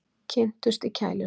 Kynntust í kælinum